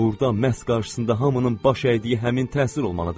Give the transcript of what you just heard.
Burda məhz qarşısında hamının baş əydiyi həmin təsir olmalıdır.